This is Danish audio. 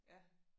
Ja